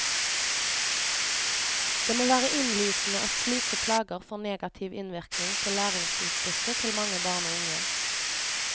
Det må være innlysende at slike plager får negativ innvirkning på læringsutbyttet til mange barn og unge.